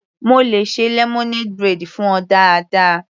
Mo le ṣe lemonade braid fún ọ dáadáa.